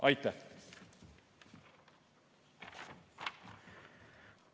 Aitäh!